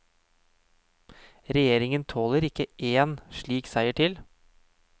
Regjeringen tåler ikke én slik seier til.